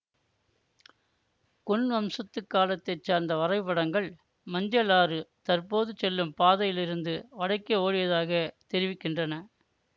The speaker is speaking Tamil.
குன் வம்சத்து காலத்தை சார்ந்த வரைபடங்கள் மஞ்சள் ஆறு தற்போது செல்லும் பாதையிலிருந்து வடக்கே ஓடியதாக தெரிவிக்கின்றன